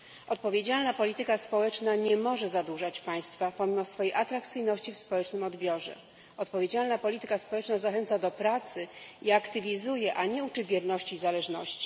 Odpowiedzialna polityka społeczna nie może zadłużać państwa pomimo swojej atrakcyjności w społecznym odbiorze. Odpowiedzialna polityka społeczna zachęca do pracy i aktywizuje, a nie uczy wierności i zależności.